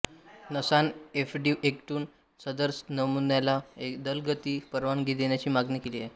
नासानं एफडीएकडून सदर नमुन्याला जलदगती परवानगी देण्याची मागणी केली आहे